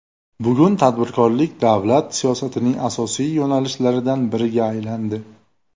Bugun tadbirkorlik davlat siyosatining asosiy yo‘nalishlaridan biriga aylandi.